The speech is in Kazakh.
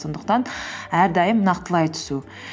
сондықтан әрдайым нақтылай түсу